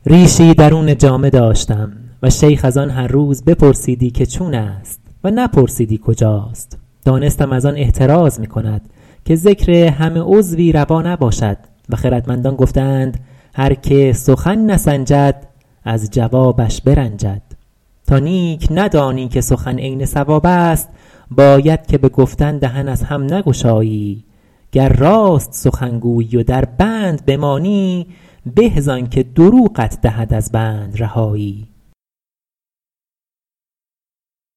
ریشی درون جامه داشتم و شیخ از آن هر روز بپرسیدی که چون است و نپرسیدی کجاست دانستم از آن احتراز می کند که ذکر همه عضوی روا نباشد و خردمندان گفته اند هر که سخن نسنجد از جوابش برنجد تا نیک ندانی که سخن عین صواب است باید که به گفتن دهن از هم نگشایی گر راست سخن گویی و در بند بمانی به زآن که دروغت دهد از بند رهایی